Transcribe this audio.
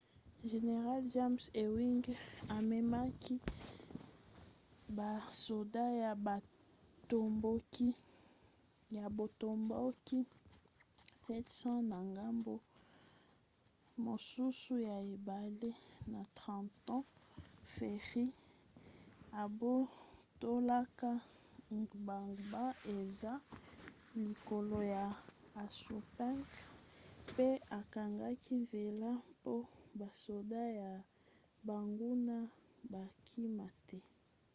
general james ewing amemaki basoda ya botomboki 700 na ngambo mosusu ya ebale na trenton ferry abotolaka gbagba eza likolo ya assunpink pe akangaki nzela mpo basoda ya banguna bakima te